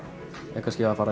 er kannski að fara